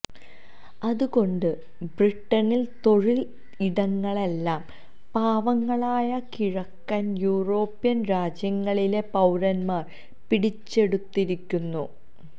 അതുകൊണ്ട് ബ്രിട്ടനിലെ തൊഴിൽ ഇടങ്ങളെല്ലാം പാവങ്ങളായ കിഴക്കൻ യൂറോപ്യൻ രാജ്യങ്ങളിലെ പൌരന്മാർ പിടിച്ചെടുത്തിരിക്കുന്നു